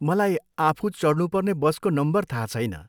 मलाई आफू चढ्नुपर्ने बसको नम्बर थाहा छैन।